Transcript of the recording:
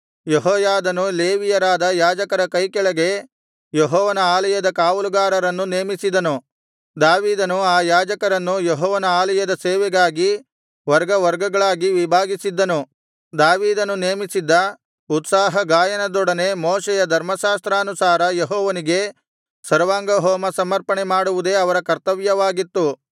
ಯೆಹೋಯಾದನು ಲೇವಿಯರಾದ ಯಾಜಕರ ಕೈಕೆಳಗೆ ಯೆಹೋವನ ಆಲಯದ ಕಾವಲುಗಾರರನ್ನು ನೇಮಿಸಿದನು ದಾವೀದನು ಆ ಯಾಜಕರನ್ನು ಯೆಹೋವನ ಆಲಯದ ಸೇವೆಗಾಗಿ ವರ್ಗವರ್ಗಗಳಾಗಿ ವಿಭಾಗಿಸಿದ್ದನು ದಾವೀದನು ನೇಮಿಸಿದ್ದ ಉತ್ಸಾಹ ಗಾಯನದೊಡನೆ ಮೋಶೆಯ ಧರ್ಮಶಾಸ್ತ್ರಾನುಸಾರ ಯೆಹೋವನಿಗೆ ಸರ್ವಾಂಗಹೋಮ ಸಮರ್ಪಣೆ ಮಾಡುವುದೇ ಅವರ ಕರ್ತವ್ಯವಾಗಿತ್ತು